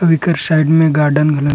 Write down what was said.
अउ एकर साइड में गार्डन घाला --